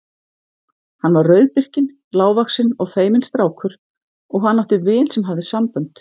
Hann var rauðbirkinn, lágvaxinn og feiminn strákur og hann átti vin sem hafði sambönd.